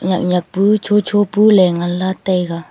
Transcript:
yak yak pu chu chu pu le nganla taiga.